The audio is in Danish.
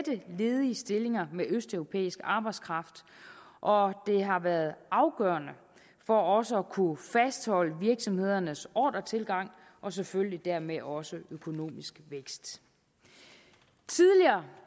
ledige stillinger med østeuropæisk arbejdskraft og det har været afgørende for også at kunne fastholde virksomhedernes ordretilgang og selvfølgelig dermed også økonomisk vækst tidligere